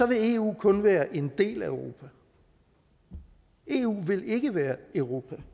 vil eu kun være en del af europa eu vil ikke være europa